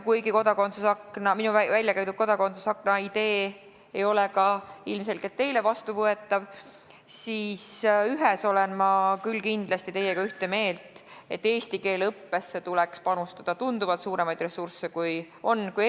Kuigi minu väljakäidud kodakondsuse akna idee ei ole ilmselgelt ka teile vastuvõetav, siis ühes olen ma küll kindlasti teiega ühte meelt: eesti keele õppesse tuleks panustada tunduvalt suuremaid ressursse kui praegu.